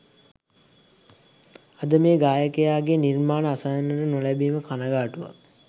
අද මේ ගායකයාගේ නිර්මාණ අසන්නට නොලැබීම කනගාටුවක්